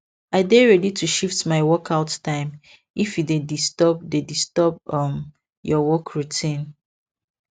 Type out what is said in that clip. i dey ready to shift my workout time if e dey disturb dey disturb um your work routine